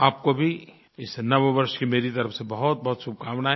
आपको भी इस नववर्ष की मेरी तरफ़ से बहुतबहुत शुभकामनायें